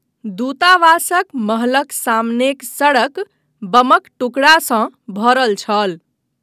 दूतावासक महलक सामनेक सड़क बमक टुकड़ासँ भरल छल।